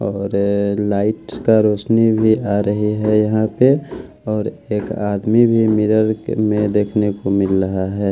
और लाइट्स का रोशनी भी आ रही है यहाँ पे और एक आदमी भी मिरर के में देखने को मिल रहा है।